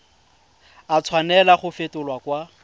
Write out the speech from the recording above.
a tshwanela go fetolwa kwa